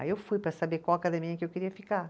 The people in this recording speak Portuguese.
Aí eu fui para saber qual academia que eu queria ficar.